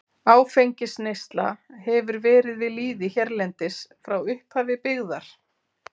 Áfengisneysla hefur verið við lýði hérlendis frá upphafi byggðar.